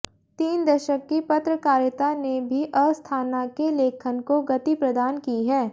तीन दशक की पत्रकारिता ने भी अस्थाना के लेखन को गति प्रदान की है